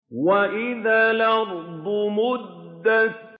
وَإِذَا الْأَرْضُ مُدَّتْ